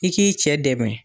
I k'i cɛ dɛmɛ